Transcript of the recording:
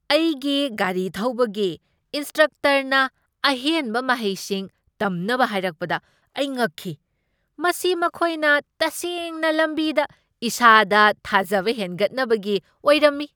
ꯑꯩꯒꯤ ꯒꯥꯔꯤ ꯊꯧꯕꯒꯤ ꯏꯟꯁꯇ꯭ꯔꯛꯇꯔꯅ ꯑꯍꯦꯟꯕ ꯃꯍꯩꯁꯤꯡ ꯇꯝꯅꯕ ꯍꯥꯏꯔꯛꯄꯗ ꯑꯩ ꯉꯛꯈꯤ ꯫ ꯃꯁꯤ ꯃꯈꯣꯏꯅ ꯇꯁꯦꯡꯅ ꯂꯝꯕꯤꯗ ꯏꯁꯥꯗ ꯊꯥꯖꯕ ꯍꯦꯟꯒꯠꯅꯕꯒꯤ ꯑꯣꯏꯔꯝꯃꯤ ꯫